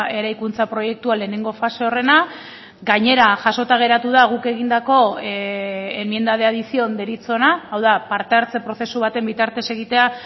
eraikuntza proiektua lehenengo fase horrena gainera jasota geratu da guk egindako enmienda de adición deritzona hau da parte hartze prozesu baten bitartez egitea